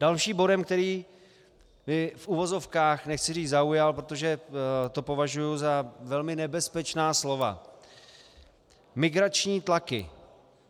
Dalším bodem, který by v uvozovkách - nechci říct zaujal, protože to považuji za velmi nebezpečná slova - migrační tlaky.